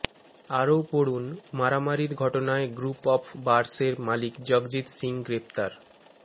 আরও পড়ুন মারামারির ঘটনায় গ্রুপ অফ বারস্ এর মালিক জগজিত্ সিং গ্রেফতার